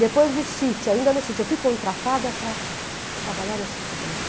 Depois do Cit, ainda no Cit, eu fui contratada para trabalhar no Citibank.